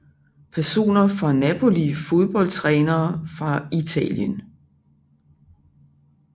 Personer fra Napoli Fodboldtrænere fra Italien